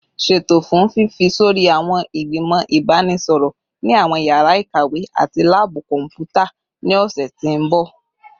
Ṣeto fun fifi sori awọn igbimọ ibanisọrọ ni awọn yara ikawe ati laabu kọnputa ni ọsẹ ti n bọ